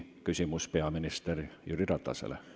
Küsimus on peaminister Jüri Ratasele.